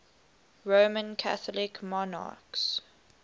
roman catholic monarchs